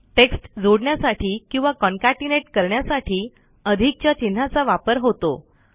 text जोडण्यासाठी किंवा concatenate करण्यासाठी अधिकच्या चिन्हाचा वापर होतो